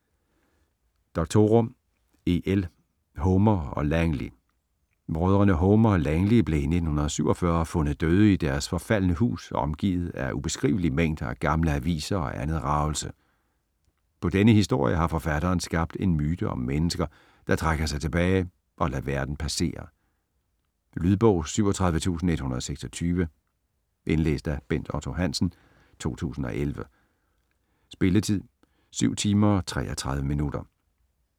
Doctorow, E. L.: Homer og Langley Brødrene Homer og Langley blev i 1947 fundet døde i deres forfaldne hus omgivet af ubeskrivelige mængder af gamle aviser og andet ragelse. På denne historie har forfatteren skabt en myte om mennesker, der trækker sig tilbage og lader verden passere. Lydbog 37126 Indlæst af Bent Otto Hansen, 2011. Spilletid: 7 timer, 33 minutter.